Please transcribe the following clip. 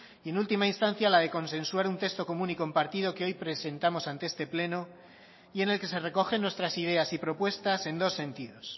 y en última instancia la de consensuar un texto común y compartido que hoy presentamos ante este pleno y en el que se recogen nuestras ideas y propuestas en dos sentidos